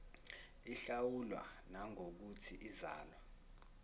ihlawulwa nangokuthi izalwa